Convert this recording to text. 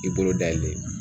I bolo da yɛlɛ